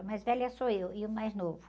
A mais velha sou eu e o mais novo.